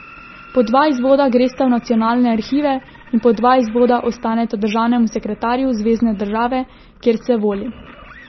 Po dva izvoda gresta v Nacionalne arhive in po dva izvoda ostaneta državnemu sekretarju zvezne države, kjer se voli.